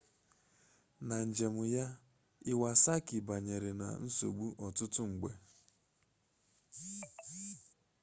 na njem ya iwasaki banyere na nsogbu ọtụtụ mgbe